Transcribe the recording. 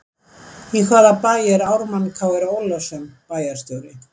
Í hvaða bæ er Ármann Kr Ólafsson bæjarstjóri?